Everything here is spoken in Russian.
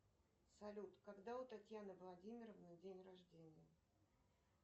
салют когда у татьяны владимировны день рождения